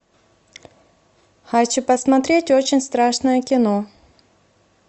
хочу посмотреть очень страшное кино